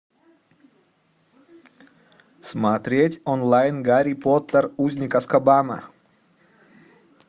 смотреть онлайн гарри поттер узник азкабана